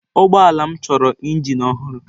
Ụgbọ ala m chọrọ injin ọhụrụ.